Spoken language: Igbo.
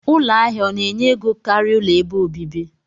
Ụlọ ahia ọna enye ego karia ụlọ ebe obibi?